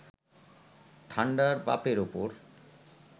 ঠান্ডার বাপের ওপর